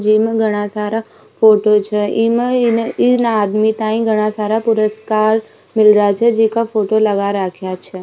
जिमे घना सारा फोटो छे इम इन आदमी ताय घना सारा पुरुस्कार मिल रहा छे जीका फोटो लगा रख्या छे।